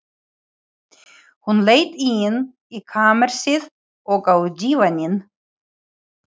Hún leit inn í kamersið, og á dívaninn.